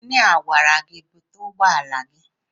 Injinia a gwara gị búte ụgbọala gị?